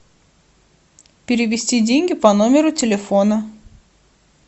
перевести деньги по номеру телефона